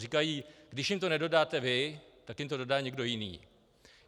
Říkají - když jim to nedodáte vy, tak jim to dodá někdo jiný.